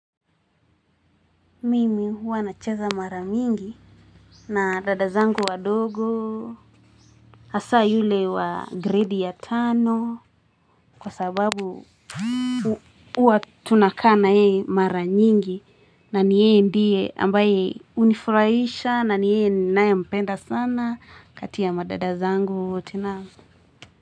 Mimi huwa nacheza mara nyingi na dada zangu wadogo. Hasa yule wa gredi ya tano kwa sababu Huwa Tunakaa na yeye mara nyingi na ni yeye ndiye ambaye hunifurahisha na ni ye ninaye mpenda sana kati ya madada zangu wote na.